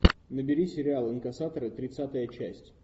набери сериал инкассаторы тридцатая часть